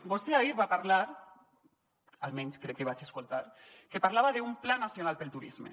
vostè ahir va parlar almenys crec que vaig sentir que parlava d’un pla nacional pel turisme